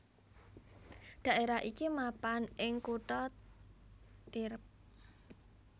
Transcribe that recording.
Dhaerah iki mapan ing kutha Tierp